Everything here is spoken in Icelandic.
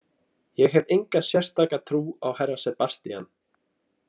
Ég hef enga sérstaka trú á herra Sebastian.